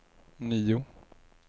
nio